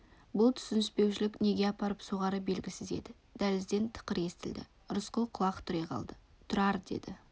бұл түсініспеушілік неге апарып соғары белгісіз еді дәлізден тықыр естілді рысқұл құлақ түре қалды тұрар деді